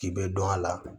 K'i bɛ dɔn a la